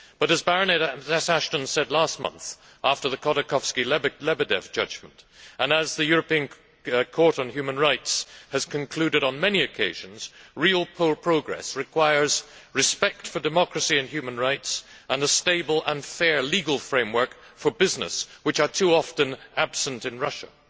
However, as Baroness Ashton said last month after the Khodorkovsky Lebedev judgment, and as the European Court on Human Rights has concluded on many occasions, real progress requires respect for democracy and human rights and a stable and fair legal framework for business, which are too often absent in Russia.